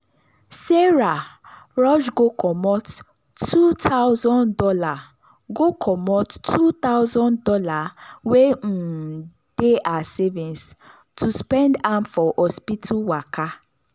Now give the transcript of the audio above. sarah rush go comot two thousand dollars go comot two thousand dollars wey um dey her savings to spend am for hospital waka.